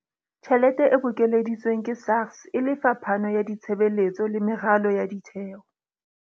Tjhelete e bokeleditsweng ke SARS e lefa phano ya ditshebeletso le meralo ya ditheo.